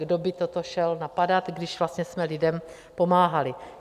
Kdo by toto šel napadat, když vlastně jsme lidem pomáhali?